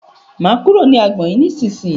Máa kúrò ní agbọn yìí ní ìsínyì.